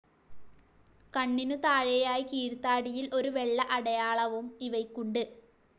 കണ്ണിനു താഴെയായി കീഴ്താടിയിൽ ഒരു വെള്ള അടയാളവും ഇവയ്ക്കുണ്ട്.